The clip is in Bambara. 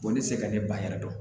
ne tɛ se ka ne ban yɛrɛ dɔn